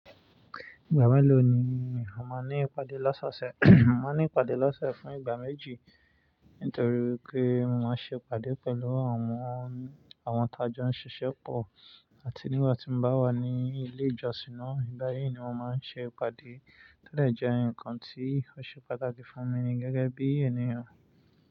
Ìgbà wo lo ni o máa ní ìpàdé lọ́sọ̀ọ̀sẹ̀? Mo máa ní ìpàdé lọ́sọ̀ọ̀sẹ̀ fún ìgbà méjì nítorí pé mo máa ń ṣe ìpàdé pẹ̀lú àwọn, àwọn tàjọ́ ń ṣiṣẹ́ pọ̀ àti nígbà tí mo bá wà ní ilé ìjọsìn náà, ìbáyẹn ni mo máa ń ṣe ìpàdé tẹ́lẹ̀ jẹ́ ǹkan tí ó ṣe pàtàkì fún mi gẹ́gẹ́ bí ènìyàn.